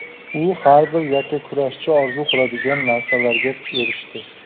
U har bir yakkakurashchi orzu qiladigan narsalarga erishdi.